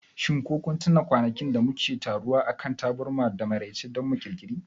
shin ko kun tuna kwanakin da muke taruwa akan taburma da maraice domin Ƙirƙiri?